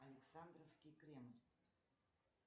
александровский кремль